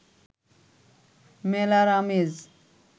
মেলার আমেজ